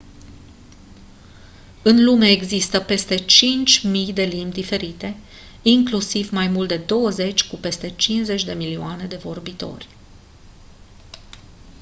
în lume există peste 5000 de limbi diferite inclusiv mai mult de douăzeci cu peste 50 de milioane de vorbitori